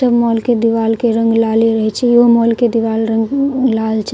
सब मॉल के दीवाल के रंग लाले रहे छै इहो मॉल के दीवाल के रंग लाल छे।